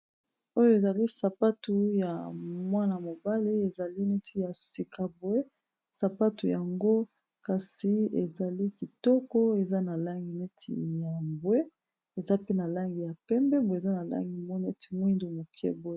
Oyo ezali sapatu ya mwana mobale ezali neti ya sika bwe sapatu yango kasi ezali kitoko eza na langi neti ya bwe eza pe na langi ya pembebwe eza na langi mo neti moindo moke boe.